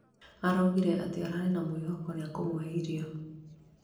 araũgire ararĩ na mwĩhoko atĩ nĩakumuhe irio